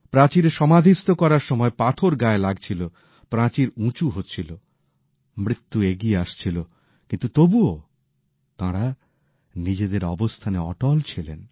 প্রাচীরে সমাধিস্থ করার সময় পাথর গায়ে লাগছিল প্রাচীর উঁচু হচ্ছিল মৃত্যু এগিয়ে আসছিল কিন্তু তবুও তাঁরা নিজেদের অবস্থানে অটল ছিলেন